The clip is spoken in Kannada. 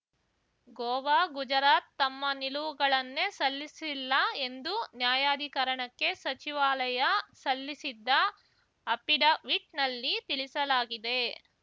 ಗೋವಾ ಗುಜರಾತ್‌ ತಮ್ಮ ನಿಲುವುಗಳನ್ನೇ ಸಲ್ಲಿಸಿಲ್ಲ ಎಂದು ನ್ಯಾಯಾಧಿಕರಣಕ್ಕೆ ಸಚಿವಾಲಯ ಸಲ್ಲಿಸಿದ್ದ ಅಫಿಡವಿಟ್‌ನಲ್ಲಿ ತಿಳಿಸಲಾಗಿದೆ